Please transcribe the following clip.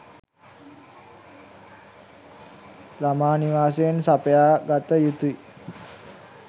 ළමා නිවාසයෙන් සපයා ගත යුතුයි